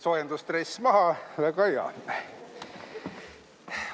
Soojendusdress maha, väga hea.